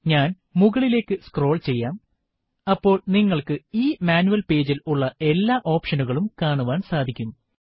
ഞാൻ മുകളിലേക്ക് സ്ക്രോൾ ചെയ്യാം അപ്പോൾ നിങ്ങൾക്കു ഈ മാനുവൽ പേജിൽ ഉള്ള എല്ലാ ഒപ്ഷനുകളും കാണുവാൻ സാധിക്കും